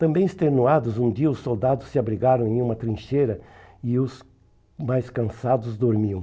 Também extenuados, um dia os soldados se abrigaram em uma trincheira e os mais cansados dormiam.